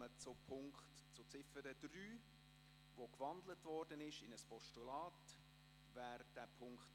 Wir kommen zur Ziffer 3, die in ein Postulat gewandelt wurde.